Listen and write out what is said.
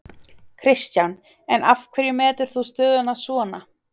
Kristján: En af hverju metur þú stöðuna svona?